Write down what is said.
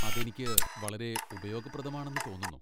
അത് എനിക്ക് വളരെ ഉപയോഗപ്രദമാണെന്ന് തോന്നുന്നു.